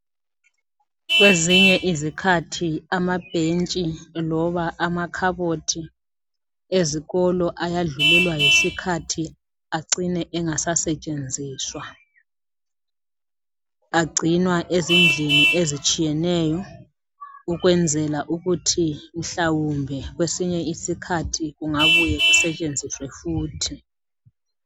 Kwezinye izikhathi amabhentshi loba amakhabothi ezikolo ayadlulelwa yisikhathi acine engasasetshenziswa agcinwa ezindlini ezitshiyeneyo ukwenzela ukuthi mhlawumbe kwesinye isikhathi kungabuye kusetshenziswe futhi.